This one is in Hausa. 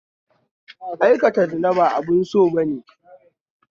Aikata zina ba abu na sabo